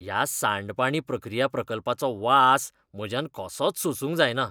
ह्या सांडपाणी प्रक्रिया प्रकल्पाचो वास म्हज्यान कसोच सोसूंक जायना.